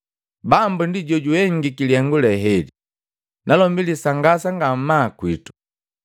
Bambu ndi jojuhengiki lihengu lee heli, nalombi lisangasa ngamaa kwitu!’ ”